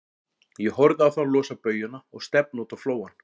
Ég horfði á þá losa baujuna og stefna út á flóann.